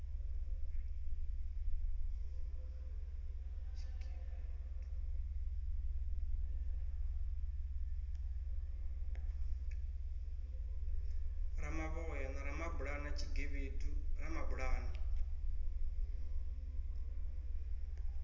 ramavhoya na ramabulana tshigevhedu ramabulana